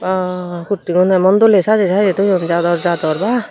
bwaa kurti gun emon doley sajey sajey thoyun jador jador bha.